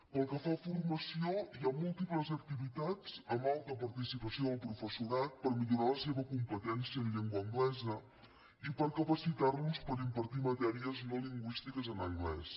pel que fa a formació hi ha múltiples activitats amb alta participació del professorat per millorar la seva competència en llengua anglesa i per capacitar los per impartir matèries no lingüístiques en anglès